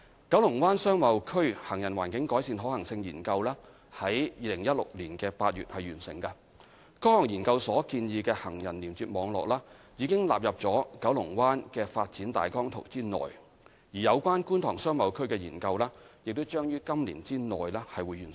九龍灣商貿區行人環境改善可行性研究於2016年8月完成，該項研究所建議的行人連接網絡，已納入九龍灣發展大綱圖內；而有關觀塘商貿區的研究將於今年內完成。